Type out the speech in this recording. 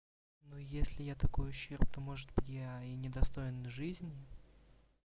ну если я такое ущерб то может быть я и не достоин жизни